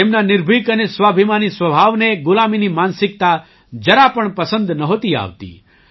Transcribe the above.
તેમના નિર્ભિક અને સ્વાભિમાની સ્વભાવને ગુલામીની માનસિકતા જરા પણ પસંદ નહોતી આવતી